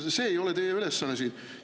See ei ole teie ülesanne siin!